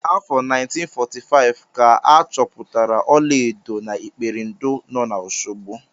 N'afọ 1945 ka a chọpụtara ọlaedo na Iperindo nọ na Oshogbo.